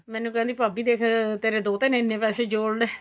ਮੈਨੂੰ ਕਹਿੰਦੀ ਭਾਭੀ ਦੇਖ ਤੇਰੇ ਦੋਤੇ ਨੇ ਇੰਨੇ ਪੈਸੇ ਜੋੜਲੇ